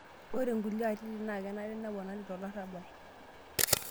Ore nkulie atitin naa kenare neponari te olarabal.